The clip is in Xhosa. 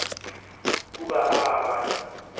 kuba aaba bantu